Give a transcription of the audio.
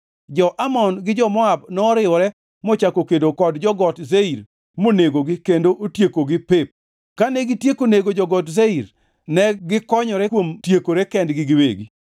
Jo-Amon gi jo-Moab noriwore mochako kedo kod jo-Got Seir monegogi kendo otiekogi pep. Kane gitieko nego jo-Got Seir, negikonyore kuom tiekore kendgi giwegi.